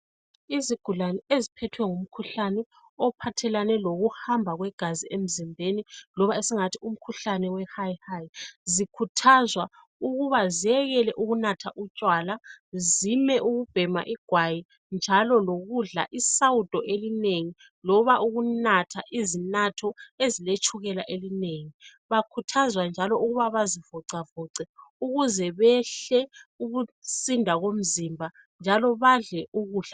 Izigulane eziphethwe ngumkhuhlane ophathelane lokuhamba kwegazi emzimbeni loba esingathi umkhuhlane we high high zikhuthazwa ukuba zekele ukunatha utshwala, zime ukubhema igwayi njalo lokudla isawudo elinengi loba ukunatha izinatho eziletshukela elinengi. Bakhuthazwa njalo ukuba bazivoxavoxe ukuze behle ukusinda komzimba njalo badle ukudla...